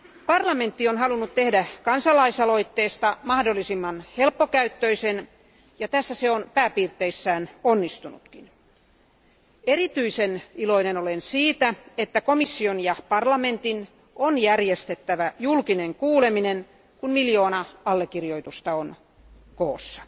Parlamentti on halunnut tehdä kansalaisaloitteesta mahdollisimman helppokäyttöisen, ja tässä se on pääpiirteissään onnistunutkin. Erityisen iloinen olen siitä, että komission ja parlamentin on järjestettävä julkinen kuuleminen, kun miljoona allekirjoitusta on koossa.